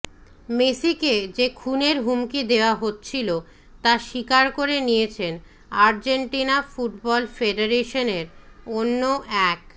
মেসিকে যে খুনের হুমকি দেওয়া হচ্ছিল তা স্বীকার করে নিয়েছেন আর্জেন্তিনা ফুটবল ফেডারেশনের অন্য এক